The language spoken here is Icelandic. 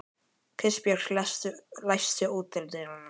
Kristbjörg, læstu útidyrunum.